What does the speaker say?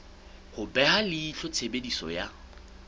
ho beha leihlo tshebediso ya